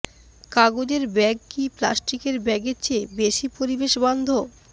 কাগজের ব্যাগ কি প্লাস্টিকের ব্যাগের চেয়ে বেশি পরিবেশ বান্ধব